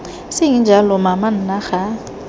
seng jalo mama nna ga